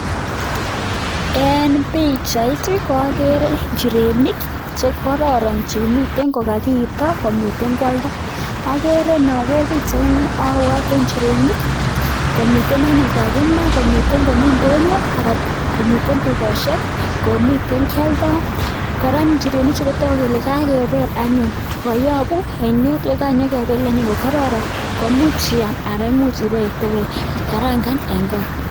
En bichait koagere injirenik chekororon Chemiten kokaito komiten kwaldo agere nager bichait niton abwate injirenik komiten anyun kakima komiten ndonyo anan komiten tukoshek komiten kialdoo koraa injirenik chuton kotagu komiten kokakebel anyun kokayabu ainet akebel kokaroron komuch Iyam anan ikarangan en gaa